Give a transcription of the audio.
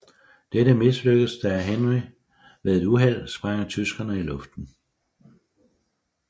Dette mislykkes da Harry ved et uheld sprænger tyskerne i luften